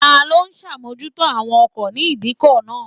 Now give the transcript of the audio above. Ta ló ń ṣàmójútó àwọn ọkọ̀ ní ìdíkọ̀ náà?